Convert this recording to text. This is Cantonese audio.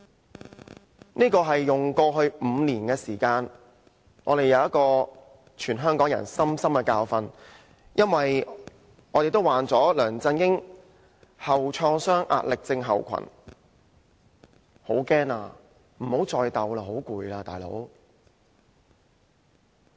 這是全香港人用過去5年時間得到的深刻教訓，因為我們也患了"梁振英創傷後壓力症候群"，我們也害怕，不想繼續鬥下去。